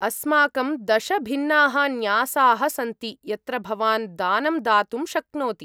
अस्माकं दश भिन्नाः न्यासाः सन्ति यत्र भवान् दानं दातुं शक्नोति।